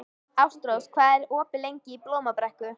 Ástrós, hvað er opið lengi í Blómabrekku?